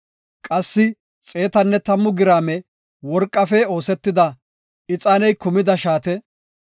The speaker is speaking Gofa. qassi 110 giraame worqafe oosetida ixaaney kumida shaate;